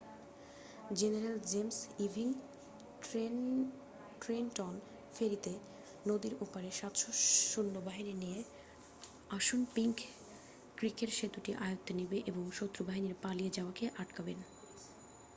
general James Ewing Trenton ফেরিতে নদীর ওপারে 700 সৈন্যবাহিনী নিয়ে আসুনপিংক ক্রিকের সেতুটি আয়ত্তে নেবেন এবং শত্রু বাহিনীর পালিয়ে যাওয়াকে আটকাবেন